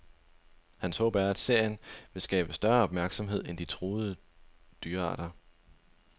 Hans håb er, at serien vil skabe større opmærksomhed om de truede dyrearter.